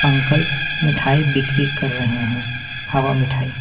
Uncle मिठाई बिक्री कर रहे हैं हवा मिठाई।